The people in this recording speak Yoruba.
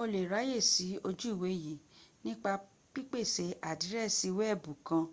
o lè ráyèsí ojú ìwé yìí nípa pípèsè àdírẹ́sì wkẹ̀bù kan